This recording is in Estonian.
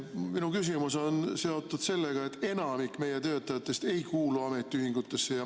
Minu küsimus on seotud sellega, et enamik meie töötajatest ei kuulu ametiühingusse.